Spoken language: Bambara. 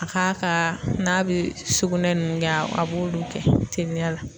A k'a ka n'a be sugunɛ ninnu kɛ a b'olu kɛ teliya la.